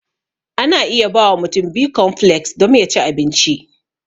Ana iya bawa mutum bikonfleks dom ya ci abinci.